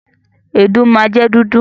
Èédú máa jẹ dúdú.